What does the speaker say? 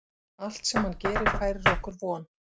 Allt sem hann gerir færir okkur von.